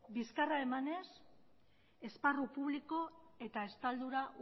bizkarra emanez esparru publiko eta estaldura